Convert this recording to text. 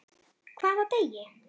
Hvaða degi?